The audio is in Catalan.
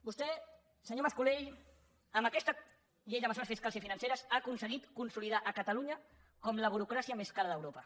vostè senyor mas colell amb aquesta llei de mesures fiscals i financeres ha aconseguit consolidar catalunya com la burocràcia més cara d’europa